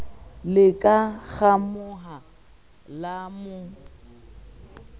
le ka ngamoha la mo